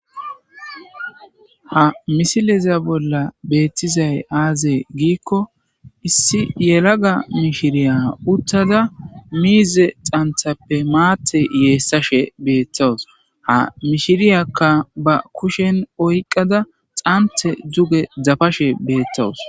ha misileza bolla beettizay aazee giikko issi yelaga mishiriya uttada miize xanthappe maathe yeessashe beettawus ha mishiriyakka ba kushen oyqada xante duge dafashe beettowus